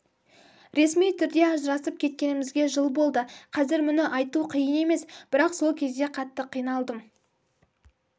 ресми түрде ажырасып кеткенімізге жыл болды қазір мұны айту қиын емес бірақ сол кезде қатты қиналдым